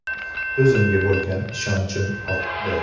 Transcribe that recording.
O‘zimga bo‘lgan ishonchim ortdi”.